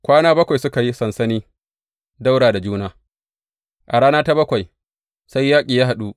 Kwana bakwai suka yi sansani ɗaura da juna, a rana ta bakwai sai yaƙi ya haɗu.